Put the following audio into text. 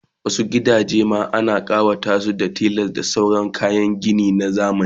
Wasu gidajen ma ana kawatasu da tiles da sauran kayan ginin zamani